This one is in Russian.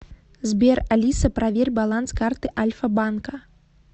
сбер алиса проверь баланс карты альфа банка